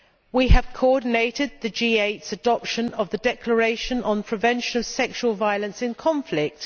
We have coordinated the G8's adoption of the Declaration on Preventing Sexual Violence in Conflict.